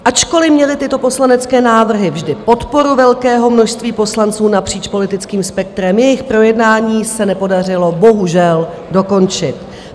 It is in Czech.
Ačkoliv měly tyto poslanecké návrhy vždy podporu velkého množství poslanců napříč politickým spektrem, jejich projednání se nepodařilo bohužel dokončit.